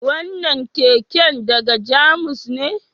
Wannan keken daga Jamus ne?